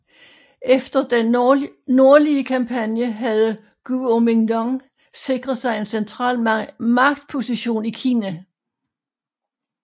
Efter den nordlige kampagne havde Guomindang sikret sig en central magtposition i Kina